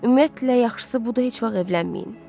Ümumiyyətlə, yaxşısı budur, heç vaxt evlənməyin.